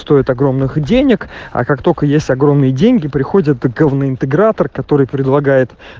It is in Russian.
стоит огромных денег а как только есть огромные деньги приходит говно интегратор который предлагает